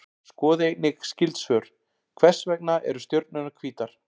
Skoðið einnig skyld svör: Hvers vegna eru stjörnurnar hvítar?